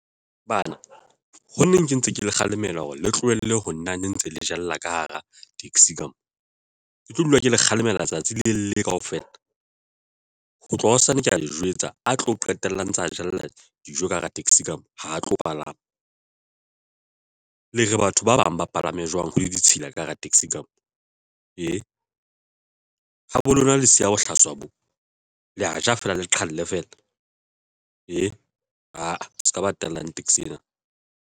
Bana ho neng ke ntse ke le kgalemela hore le tlohelle ho nna ne ntse le jella ka hara taxi ka mona ke tlo dula ke le kgalemela tsatsi le le kaofela ho tloha hosane ke ya le jwetsa a tlo qetellang tsa jella dijo ka hara taxi ka mona ha tlo palama le re batho ba bang ba palame jwang ho le ditshila ka hara taxi ka moo ee habo lona le siya bohlaswa bo, le ya ja fela le qhale fela se ka ba tellang taxi ena.